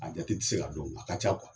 A jati te se ka dɔn a ka ca kuwa